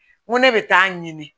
N ko ne bɛ taa ɲini